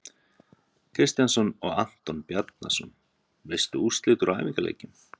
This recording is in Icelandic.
Kristjánsson og Anton Bjarnason.Veistu úrslit úr æfingaleikjum?